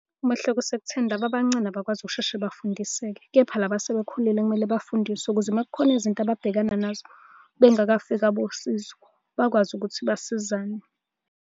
Umehluko usekutheni laba abancane abakwazi ukusheshe bafundiseke, kepha laba asebekhulile kumele bafundiswe ukuze uma kukhona izinto ababhekana nazo bengakafiki abosizo, bakwazi ukuthi basizane.